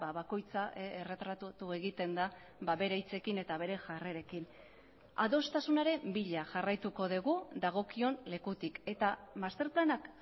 bakoitza erretratatu egiten da bere hitzekin eta bere jarrerekin adostasunaren bila jarraituko dugu dagokion lekutik eta masterplanak